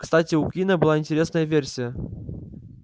кстати у куинна была интересная версия